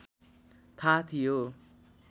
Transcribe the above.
थाहा थियो